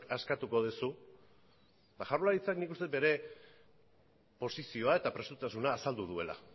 askatuko duzu jaurlaritzak nik uste dut bere posizioa eta prestutasuna azaldu duela